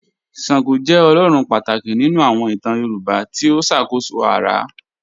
Ṣàngó jẹ́ ọlọ́run pátákì nínu àwọn ìtàn Yorùbá tí ó ṣákóṣó ara.